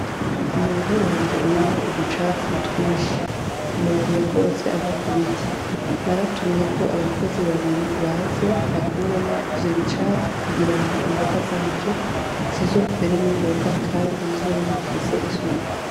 Mumurima wanje urimwo uducafu twinshi, amababi yakorotse ava Ku biti naratumyeko abakozi babiri baze bakuremwo ivyo bicafu kugira ngo imboga zanje zizokwere ningoga kandi zizobe zifise isuku.